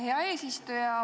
Hea eesistuja!